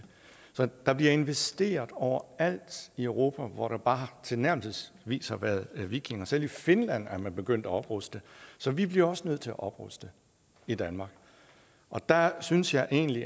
der bliver investeret over alt i europa hvor der bare tilnærmelsesvis har været vikinger selv i finland er man begyndt at opruste så vi bliver også nødt til at opruste i danmark og der synes jeg egentlig